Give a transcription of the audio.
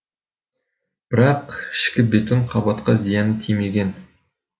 бірақ ішкі бетон қабатқа зияны тимеген